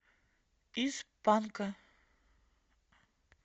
из панка